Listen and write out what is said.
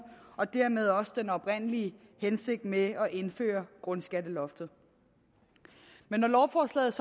og dermed også den oprindelige hensigt med at indføre grundskatteloftet men når lovforslaget